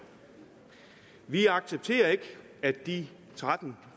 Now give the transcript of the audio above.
vi accepterer ikke at de tretten